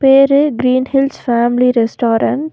பேரு green hills family restaurant .